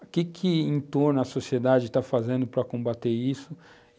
O que que em torno a sociedade está fazendo para combater isso?